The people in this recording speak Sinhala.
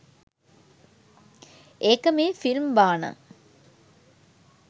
ඒක මේ ෆිල්ම් බාන.